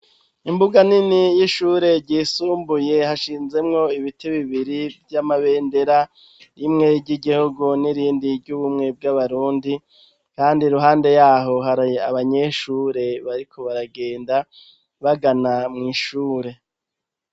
Imbuga nini y'ishure ryisumbuye, hashinzemwo ibiti bibiri by'amabendera rimwe ry'igihugu n'irindi ry'ubumwe bw'abarundi kandi ruhande yaho h abanyeshure bariko baragenda bagana mw'ishure.